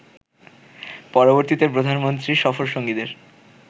পরবর্তীতে প্রধানমন্ত্রীর সফরসঙ্গীদের